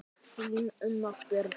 Þín, Unnur Björg.